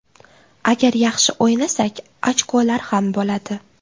Agar yaxshi o‘ynasak ochkolar ham bo‘ladi.